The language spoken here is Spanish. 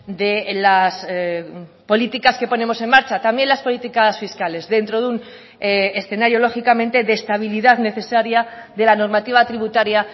de las políticas que ponemos en marcha también las políticas fiscales dentro de un escenario lógicamente de estabilidad necesaria de la normativa tributaria